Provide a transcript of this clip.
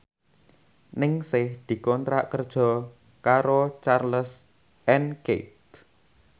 Ningsih dikontrak kerja karo Charles and Keith